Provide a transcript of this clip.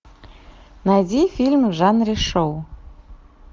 найди фильм в жанре шоу